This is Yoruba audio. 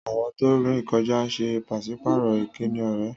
Àwọn tó ń rìn kọjá ń ṣe pàṣípààrọ̀ ìkíni ọ̀rẹ́